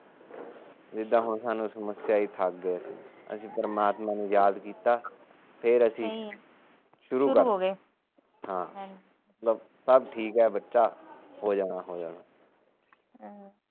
ਜਿਦਾ ਸਾਨੂੰ ਇਹ ਸਮੱਸਿਆ ਇਹ ਅਸੀ ਪਰਮਾਤਮਾ ਨੂੰ ਯਾਦ ਕੀਤਾ ਫਿਰ ਆਸੀ ਸ਼ੁਰੂ ਹੋ ਗਏ ਹਾ ਚਲੋ ਸੱਭ ਠੀਕੇ ਬੱਚਾ ਹੋ ਜਾਣਾ ਹੋ ਜਾਣਾ